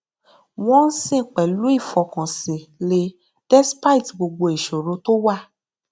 wọn ń sìn pẹlú ìfọkànsìn lẹ despite gbogbo ìṣòro tó wà